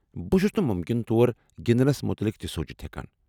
بہ چھس نہٕ مٗمكِنہٕ طور گنٛدنس متعلق تہِ سونٛچتھ ہیكان ۔